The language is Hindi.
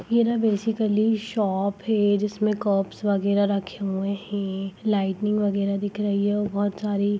यह न बेसिकली शॉप हैं जिसमें कॉप्स वगैरा रखे हुए हैं लाइटनिंग वगैरा दिख रही है और सारी--